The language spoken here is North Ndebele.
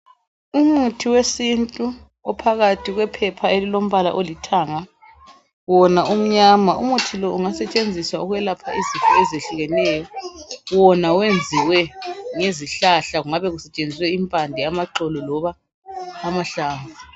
Umuthi wesintu ophakathi kwephepha elilombala olithanga wona umnyama umuthi lo ungasetshenziswa ukwelapha izifo ezehlukeneyo wona wenziwe ngezihlahla kungabe kusetshenziswe impande amaxolo loba amahlamvu.